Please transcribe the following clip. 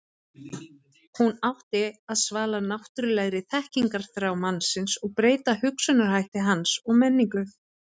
hún átti að svala náttúrulegri þekkingarþrá mannsins og breyta hugsunarhætti hans og menningu